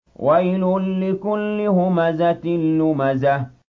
وَيْلٌ لِّكُلِّ هُمَزَةٍ لُّمَزَةٍ